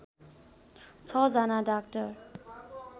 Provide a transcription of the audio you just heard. छ जना डाक्टर